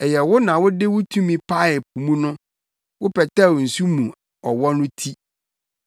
Ɛyɛ wo na wode wo tumi paee po mu no; wopɛtɛw nsu mu ɔwɔ no ti.